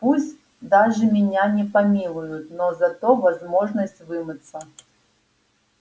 пусть даже меня не помилуют но зато возможность вымыться